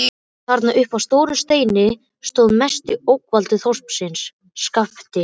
Þarna uppi á stórum steini stóð mesti ógnvaldur þorpsins: SKAPTI